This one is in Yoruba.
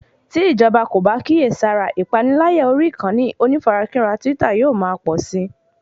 Tí ìjọba kò bá kíyèsára ìpaniláyà orí ìkànnì onífarakínra twitter yóò ma pọ̀si